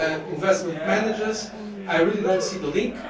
investment managers, I really do not see this link.